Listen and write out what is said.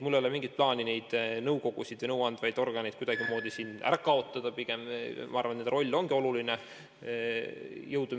Mul ei ole mingit plaani neid nõukogusid või muid nõuandvaid ühendusi kuidagimoodi ära kaotada, pigem ma arvan, et nende roll on oluline.